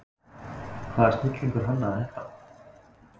Hvaða snillingur hannaði þetta?